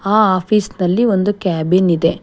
ಆ ಆಪೀಸ್ ನಲ್ಲಿ ಒಂದು ಕ್ಯಾಬಿನ್ ಇದೆ.